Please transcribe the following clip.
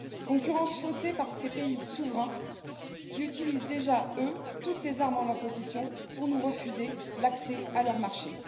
Concurrence faussée par ces pays souverains qui utilisent déjà, eux, toutes les armes en leur possession pour nous refuser l'accès à leur marché.